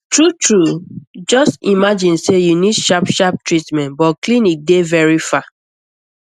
true true just imagine say you need sharp sharp treatment but clinic dey very far